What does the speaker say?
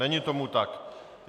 Není tomu tak.